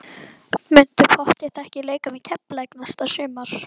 Muntu pottþétt ekki leika með Keflavík næsta sumar?